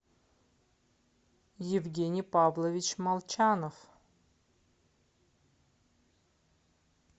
евгений павлович молчанов